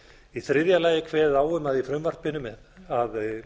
í þriðja lagi er kveðið á um í frumvarpinu að